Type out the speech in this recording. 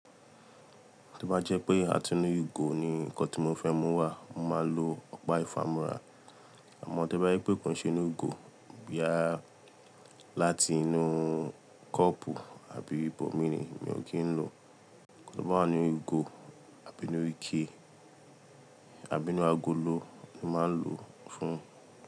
To bá jẹ́ pé a ti inu ìgò ní nnkán tí mo fẹ́ mú wá, mo máa lo ọ̀pá ìfámúra. Àmọ́ tí ó bá jẹ́ pé kò n se inú ìgò, boya láti inú cup àbí ibòmí ni, mi ò kí ń lò. Tí ó bá wá ni ìgò àbí inú ike àbí inú agolo ni màá lò fún un.